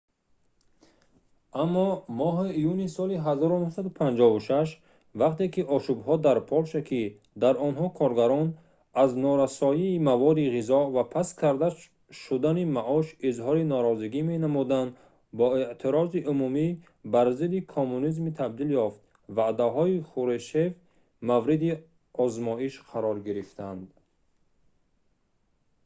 аммо моҳи июни соли 1956 вақте ки ошӯбҳо дар полша ки дар онҳо коргарон аз норасоии маводи ғизо ва паст карда шудани маош изҳори норозигӣ менамуданд ба эътирози умумӣ бар зидди коммунизм табдил ёфт ваъдаҳои хрушщев мавриди озмоиш қарор гирифтанд